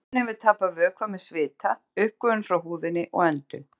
Maðurinn hefur tapað vökva með svita, uppgufun frá húðinni og öndun.